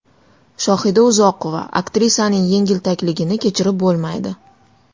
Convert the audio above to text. Shohida Uzoqova: Aktrisaning yengiltakligini kechirib bo‘lmaydi.